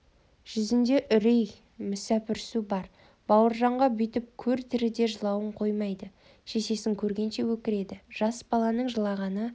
жүзінде үрей мүсәпірсу бар бауыржанға бүйтіп көр тіріде жылауын қоймайды шешесін көргенше өкіреді жас баланың жылағаны